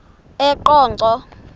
eqonco